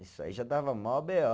Isso aí já dava maior bê ó